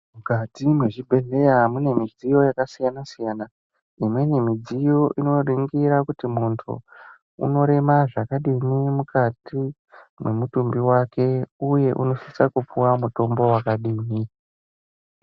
Mukati mezvibhedhlera mune midziyo yakasiyana siyana imweni midziyo inoningira kuti muntu unorems zvakadini mukati memutumbi wake uye unosisa kupuwa mutombo wakadini.